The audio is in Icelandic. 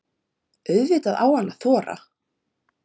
Auðvitað á hann að þora.